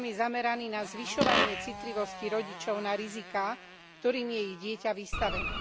program je zameraný na zvyšovanie citlivosti rodičov na riziká, ktorými je ich dieťa vystavené.